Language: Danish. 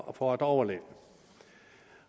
og for at overleve